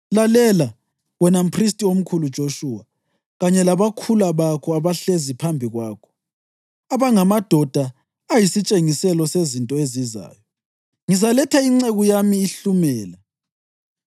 Lalela, wena mphristi omkhulu Joshuwa, kanye labakhula bakho abahlezi phambi kwakho, abangamadoda ayisitshengiselo sezinto ezizayo: Ngizaletha inceku yami iHlumela.